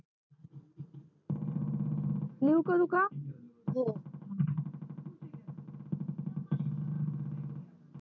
new करू काकरू का